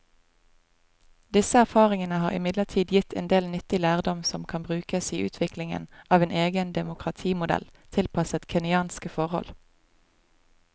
Disse erfaringene har imidlertid gitt en del nyttig lærdom som kan brukes i utviklingen av en egen demokratimodell tilpasset kenyanske forhold.